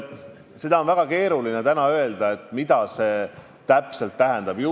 Seda on väga keeruline täna öelda, mida see täpselt tähendada võiks.